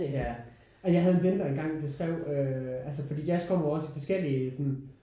Ja og jeg havde en ven der en gang beskrev øh altså fordi jazz kommer jo også i forskellige sådan